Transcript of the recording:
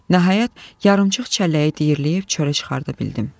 Nəhayət, yarımçıq çəlləyi diyirləyib çölə çıxarda bildim.